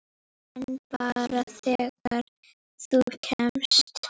En bara þegar þú kemst.